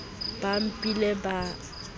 ba mphile ka letsohong ka